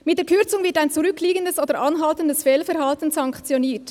«Mit der Kürzung wird ein zurückliegendes oder anhaltendes Fehlverhalten sanktioniert.